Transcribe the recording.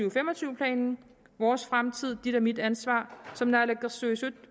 og fem og tyve planen vores fremtid dit og mit ansvar som naalakkersuisut